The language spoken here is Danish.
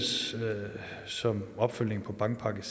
som opfølgning på bankpakke